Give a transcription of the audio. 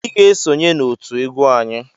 Ị ga-esonye n'òtù egwu nwanyị!